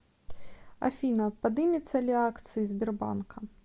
афина подымется ли акции сбербанка